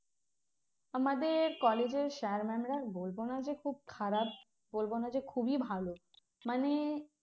আমাদের college এর sir mam রা বলবো না যে খুব খারাপ বলবো না যে খুবই ভালো মানে